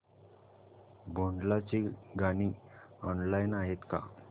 भोंडला ची गाणी ऑनलाइन आहेत का